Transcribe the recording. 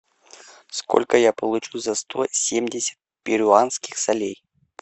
сколько я получу за сто семьдесят перуанских солей